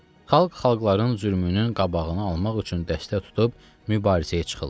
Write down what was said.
Xalq xalqların zülmünün qabağını almaq üçün dəstək tutub mübarizəyə çıxırlar.